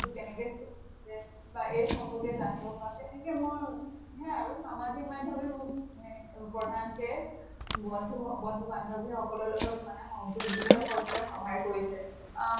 টো কেনেকে চলিছে বা এই সম্পৰ্কে জানিব পাৰো। তেনেকে মই সেয়ে আৰু সামাজিক মাধ্য়মে মোক main প্ৰধানকে বন্ধু বন্ধু বান্ধৱী সকলৰ লগত মানে সংযোজিত কৰিবলৈ সহায় কৰিছে। অহ